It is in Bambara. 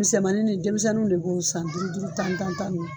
Misɛnmanin denmisɛnninw de b'o san duuru duuru tan tan tan.